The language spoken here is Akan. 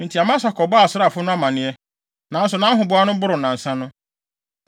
Enti Amasa kɔbɔɔ asraafo no amanneɛ, nanso nʼahoboa no boroo nnansa no.